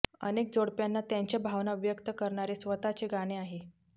अनेक जोडप्यांना त्यांच्या भावना व्यक्त करणारे स्वतःचे गाणे आहे